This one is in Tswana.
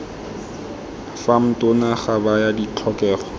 fam tona ga baya ditlhokego